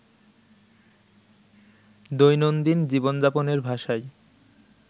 দৈনন্দিন জীবনযাপনের ভাষায়